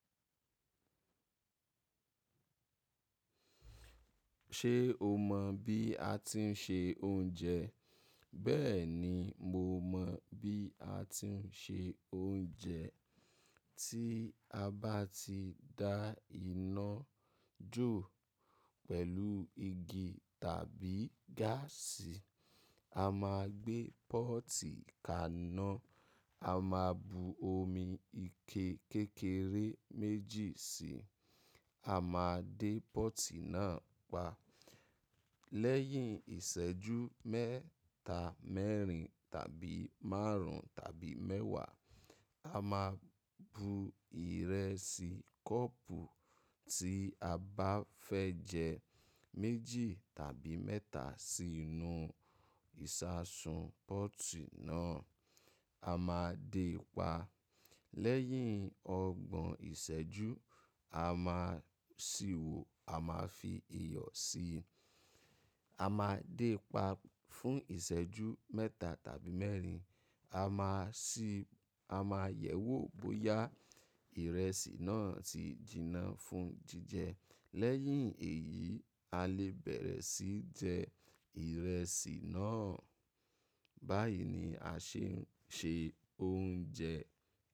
Ṣé o mọ̀ bí a ti ń se oúnjẹ? Bẹ́ẹ̀ni, mo mọ̀ bí a ti ń se oúnjẹ. Tí a bá ti dá iná jó pẹ̀lú igi tàbí gáàsì, a máa gbé pọ́ọ́tì kaná, a máa bu omi ike kékeré méjì síi, a máa dé pọ́ọ́tì náà pa. Lẹ́yìn ìṣẹ́jú mẹ́ta, mẹ́rin, tàbí márùn tàbí mẹ́wàá, a máa bu ìrẹsì kọ́ọ̀pù tí a bá fẹ́ jẹ, méjì tàbí mẹ́ta sí inú ìṣasùn pọ́ọ́tì náà, a máa dé pa. Lẹ́yìn ọgbọ̀n ìṣẹ́jú, a máa sì wò, a máa fi iyọ̀ si, a máa dé pa fún ìṣẹ́jú mẹ́ta tàbí mẹ́rin. A máa sì a máa yẹ̀wò bóyá ìrẹsì náà ti jinná fún jíjẹ. Lẹ́yìn èyí, a lè bẹ̀rẹ̀ sí jẹ ìrẹsì náà. Báyìí ni a ṣe ń ṣe oúnjẹ.